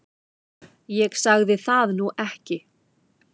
Ég sagði það nú ekki